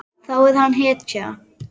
Þá er hann hetja.